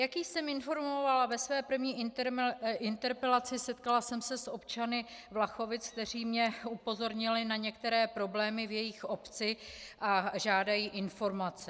Jak již jsem informovala ve své první interpelaci, setkala jsem se s občany Vlachovic, kteří mě upozornili na některé problémy v jejich obci a žádají informace.